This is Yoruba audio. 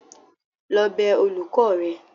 lọ bẹ olùkọ́ rẹ!